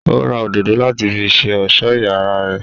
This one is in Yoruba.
Ó ra òdòdó láti fi ṣe ọ̀sọ́ iyàrá rè.